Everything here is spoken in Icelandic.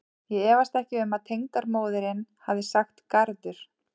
Ég efast ekki um að tengdamóðirin hafi sagt garður.